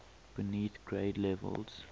beneath grade levels